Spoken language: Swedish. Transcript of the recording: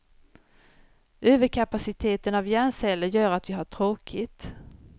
Överkapaciteten av hjärnceller gör att vi har tråkigt.